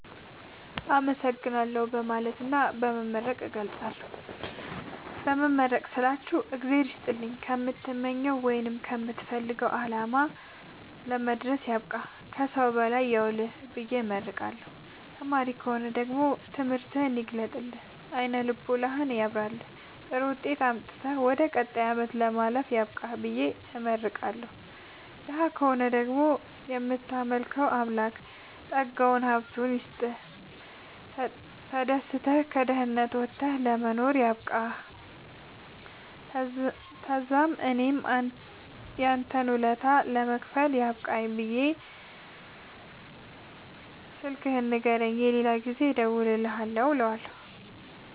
አመሠግናለሁ በማለትና በመመረቅ እገልፃለሁ። በመመረቅ ስላችሁ እግዚአብሄር ይስጥልኝ ከምትመኘዉ ቦታወይም ከምትፈልገዉ አላማ ለመድረስያብቃህ ከሠዉ በላይ ያዉልህብየ እመርቀዋለሁ። ተማሪ ከሆነ ደግሞ ትምህርትህን ይግለጥልህ አይነ ልቦናህን ያብራልህ ጥሩዉጤት አምጥተህ ወደ ቀጣይ አመት ለማለፍ ያብቃህ ብየ እመርቀዋለሁ። ደሀ ከሆነ ደግሞ እምታመልከዉ አምላክ ጠጋዉን ሀብቱይስጥህ ተደስተህ ከድህነት ወተህ ለመኖር ያብቃህእለዋለሁ። ተዛምእኔም ያንተን ወለታ ለመክፈል ያብቃኝ ብየ ስልክህን ንገረኝ የሌላ ጊዜ እንድደዉልልህ እለዋለሁ